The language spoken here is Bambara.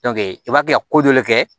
i b'a kɛ ka kojɔlen kɛ